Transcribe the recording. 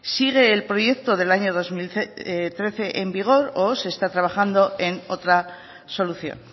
sigue el proyecto del año dos mil trece en vigor o se está trabajando en otra solución